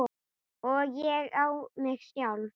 Og ég á mig sjálf!